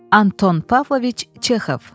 Anton Pavloviç Çexov.